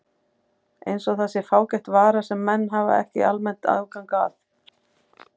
Eins og það sé fágæt vara sem menn hafi ekki almennt aðgang að.